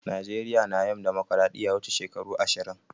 Najeriya na yin dimokiradiyya wuche shekaru ashirin.